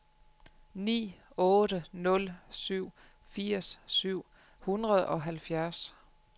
ni otte nul syv firs syv hundrede og halvfjerds